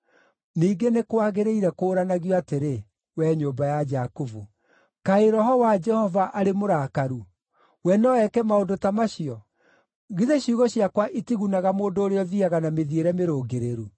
Ningĩ nĩ kwagĩrĩire kũũranagio atĩrĩ, wee nyũmba ya Jakubu: “Kaĩ Roho wa Jehova arĩ mũrakaru? We no eke maũndũ ta macio?” “Githĩ ciugo ciakwa itigunaga mũndũ ũrĩa ũthiiaga na mĩthiĩre mĩrũngĩrĩru?